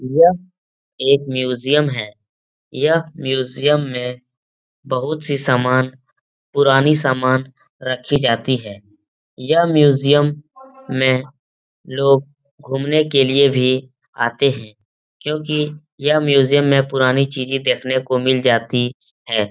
यह एक म्यूजियम है। यह म्यूजियम में बहोत-सी सामान पुरानी सामान रखी जाती है। यह म्यूज़ियम में लोग घूमने के लिए भी आते हैं क्योंकि यह म्यूज़ियम में पुरानी चीजें देखने को मिल जाती हैं।